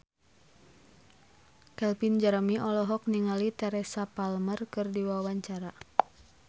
Calvin Jeremy olohok ningali Teresa Palmer keur diwawancara